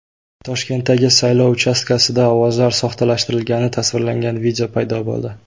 Toshkentdagi saylov uchastkasida ovozlar soxtalashtirilgani tasvirlangan video paydo bo‘ldi.